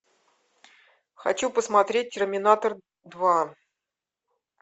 хочу посмотреть терминатор два